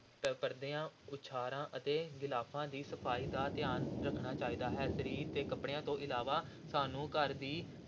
ਪ ਪਰਦਿਆਂ, ਉਛਾੜਾਂ ਤੇ ਗਿਲਾਫ਼ਾਂ ਦੀ ਸਫ਼ਾਈ ਦਾ ਧਿਆਨ ਰੱਖਣਾ ਚਾਹੀਦਾ ਹੈ, ਸਰੀਰ ਤੇ ਕੱਪੜਿਆਂ ਤੋਂ ਇਲਾਵਾ ਸਾਨੂੰ ਘਰ ਦੀ